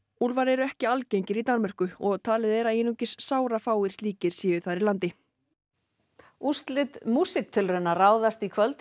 úlfar eru ekki algengir í Danmörku og talið er að einungis sárafáir slíkir séu þar í landi úrslit músíktilrauna ráðast í kvöld í